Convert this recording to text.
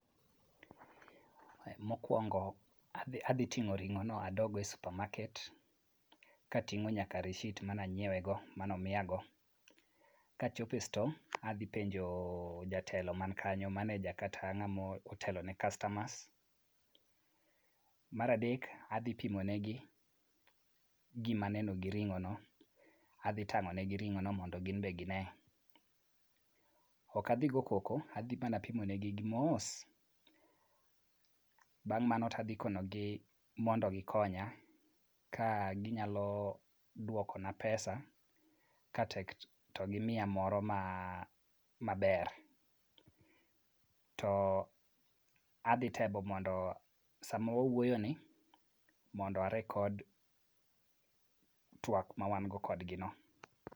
Mokwongo adhi ting'o ring'ono adoggo e supermarket kating'o nyaka receipt mana nyiewego, mano miyago. Kachopo e sto, adhi penjo jatelo man kanyo, maneja kata ng'amo telone kastamas. Mar adek, adhi pimo negi gima neno gi ring'ono. Adhi tang'o negi ring'ono mondo gin be gine. Ok adhi gogo koko, adhi mana pimo negi mos bang' mano tadhi konogi mondo gikonya ka ginyalo dwokona pesa ,katek to gimiya moro maber, to adhi temo mondo sama wawuoyoni, mondo a record twak ma wan go kodgi no.